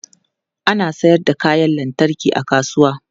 Ana sayar da kayan lantarki a kasuwa.